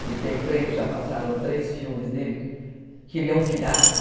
que tem três, já passaram três filmes dele, que ele é um pirata.